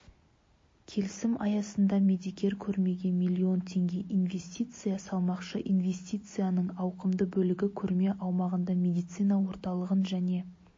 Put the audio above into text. келісім аясында медикер көрмеге миллион теңге инвестиция салмақшы инвестицияның ауқымды бөлігі көрме аумағында медицина орталығын және